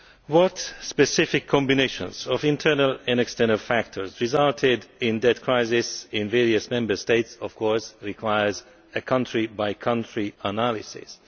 What specific combinations of internal and external factors resulted in the debt crisis in various Member States of course requires a country by country analysis.